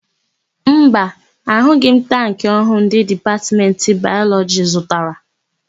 Mba, ahụghị m tankị ọhụụ ndị Dipatmentị Bayọlọjị zụtara.